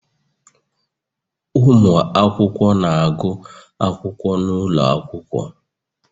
Ụmụ akwụkwọ na-agụ akwụkwọ n'ụlọ akwụkwọ